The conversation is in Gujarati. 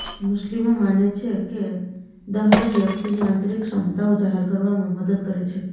મુસ્લિમો માને છે કે દહલેમ વ્યક્તિની આંતરિક ક્ષમતાઓ જાહેર કરવામાં મદદ કરે છે